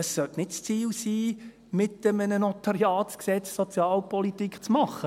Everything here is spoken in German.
Es sollte nicht das Ziel sein, mit einem NG Sozialpolitik zu machen.